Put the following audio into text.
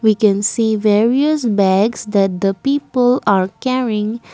we can see various bags that the people are carrying.